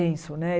né?